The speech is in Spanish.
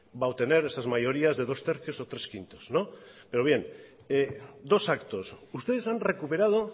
va a obtener esas mayorías de dos tercios o tres quintos pero bien dos actos ustedes han recuperado